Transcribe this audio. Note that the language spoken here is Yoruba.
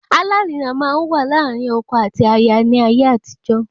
Alárinà máa n wa láàrin ọkọ àti aya ní ayé àtijó